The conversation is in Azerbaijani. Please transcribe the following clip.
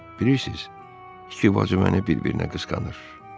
Bilirsiniz, iki bacı məni bir-birinə qısqanır.